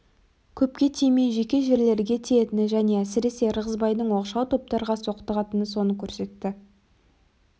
көпке тимей жеке жерлерге тиетіні және әсіресе ырғызбайдай оқшау топтарға соқтығатыны соны көрсетті